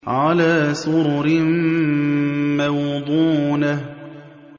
عَلَىٰ سُرُرٍ مَّوْضُونَةٍ